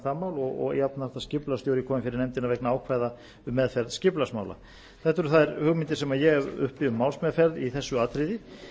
það mál og jafnframt að skipulagsstjóri komi fyrir nefndina vegna ákvæða um meðferð skipulagsmála þetta eru þær hugmyndir sem ég hef uppi um málsmeðferð í þessu atriði